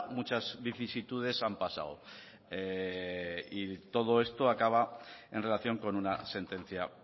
muchas vicisitudes han pasado y todo esto acaba en relación con una sentencia